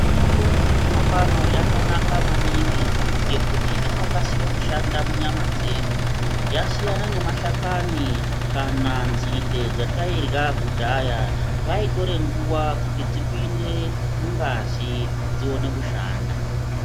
Mitombo ye zvino pano yakanaka maningi ngekuti inokasira kushanda mu nyama dzedu yasina ne mashakani kana nzinde dzatairya kudhaya zvaitora nguva kuti dzipinde mungazi dzione kushanda.